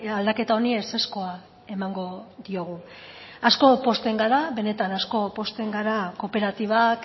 aldaketa honi ezezkoa emango diogu asko pozten gara benetan asko pozten gara kooperatibak